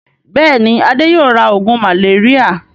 Bẹ́ẹ̀ni, Adé yóò ra oògùn màléríà.